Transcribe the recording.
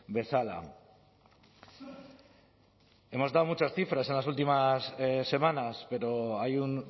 bezala hemos dado muchas cifras en las últimas semanas pero hay un